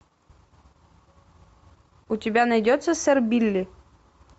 у тебя найдется сэр билли